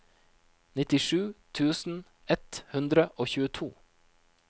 nittisju tusen ett hundre og tjueto